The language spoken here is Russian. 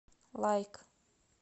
лайк